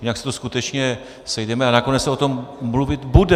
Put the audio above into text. Jinak se tu skutečně sejdeme a nakonec se o tom mluvit bude.